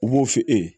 U b'o f'i ye